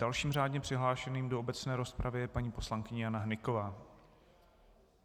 Dalším řádně přihlášeným do obecné rozpravy je paní poslankyně Jana Hnyková.